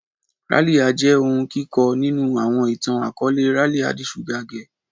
Ralia jẹ ohun kikọ ninu awọn itan-akọọlẹ "Ralia the sugar girl"